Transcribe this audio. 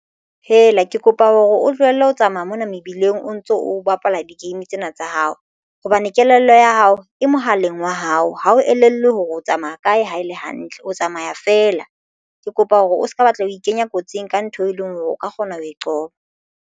Ke kopa hore o tlohelle ho tsamaya mona mebileng o ntso o bapala di game tsena tsa hao hobane kelello ya hao e mohaleng wa hao ha o elellwe hore o tsamaya kae ha e le hantle o tsamaya feela. Ke kopa hore o se ka batla ho ikenya kotsing ka ntho e leng hore o ka kgona ho e qoba.